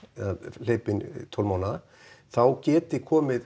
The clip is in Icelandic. hleypa inn tólf mánaða þá geti komið